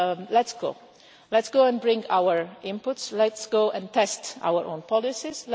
Let's go, let's go and bring our inputs, let's go and test our own policies.